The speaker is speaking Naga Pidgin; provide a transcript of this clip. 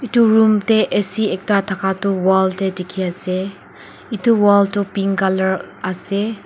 etu room te A C ekta thaka tu wall te dekhi ase etu wall tu pink colour ase.